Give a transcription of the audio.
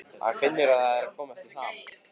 Hann finnur að hann er að komast í ham.